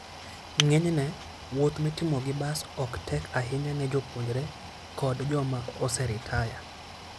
Ng'enyne, wuoth mitimo gi bas ok tek ahinya ne jopuonjre koda joma oseritaya.